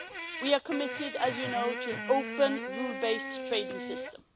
We are committed, as you know, to an open rule-based trading system.